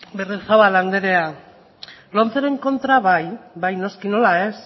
berriozabal anderea lomceren kontra bai bai noski nola ez